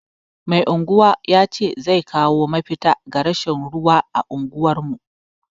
Mai anguwa ya ce zai kawo mafita ga rashin ruwa a unguwar mu.